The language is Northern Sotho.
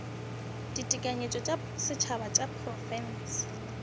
ditekanyetšo tša setšhaba tša diprofense